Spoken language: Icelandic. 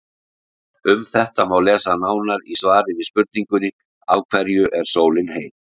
Um þetta má lesa nánar í svari við spurningunni Af hverju er sólin heit?.